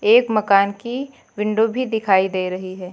एक मकान की विंडो भी दिखाई दे रही है।